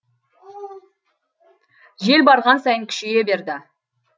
жел барған сайын күшейе берді